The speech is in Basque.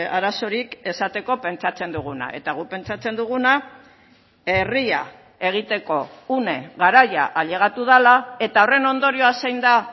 arazorik esateko pentsatzen duguna eta guk pentsatzen duguna herria egiteko une garaia ailegatu dela eta horren ondorioa zein da